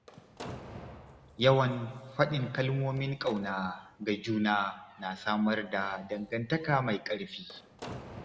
Yawan faɗin kalmomin ƙauna ga juna na samar da dangantaka mai ƙarfi.